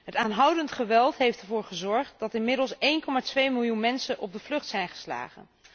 Het aanhoudend geweld heeft ervoor gezorgd dat inmiddels 1,2 miljoen mensen op de vlucht zijn geslagen.